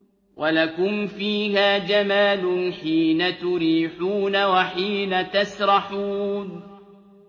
وَلَكُمْ فِيهَا جَمَالٌ حِينَ تُرِيحُونَ وَحِينَ تَسْرَحُونَ